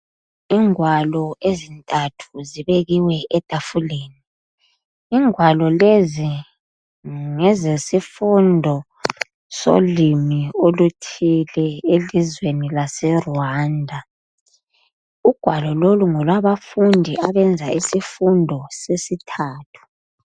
Ingwalo ezintathu zibekiwe etafuleni. Ingwalo lezi ngezesifundo solimi oluthile elizweni laseRwanda. Ugwalo lolu ngolwabafundi abenza isifundo sesithathu.